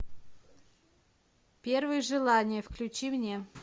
первые желания включи мне